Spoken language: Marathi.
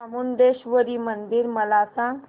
चामुंडेश्वरी मंदिर मला सांग